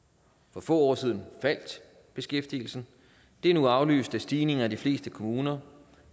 for få år siden faldt beskæftigelsen det er nu afløst af stigninger i de fleste kommuner